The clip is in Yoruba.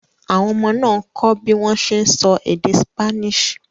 Àwọn ọmọ náà ń kọ́ bí wọ́n ṣe ń sọ èdè Spanish.